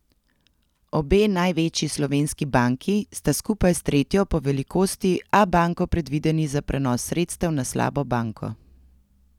Obe največji slovenski banki sta skupaj s tretjo po velikosti Abanko predvideni za prenos sredstev na slabo banko.